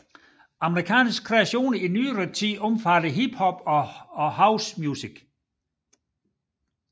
Amerikanske kreationer i nyere tid omfatter hip hop and house music